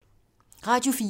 Radio 4